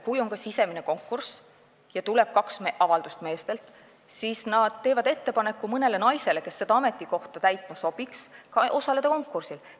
Kui on ka sisemine konkurss ja tuleb kaks avaldust meestelt, siis nad teevad mõnele naisele, kes seda ametikohta täitma sobiks, ettepaneku konkursil osaleda.